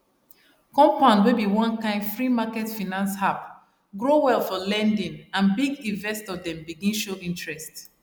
compound wey be one kind freemarket finance app grow well for lending and big investor dem begin show interest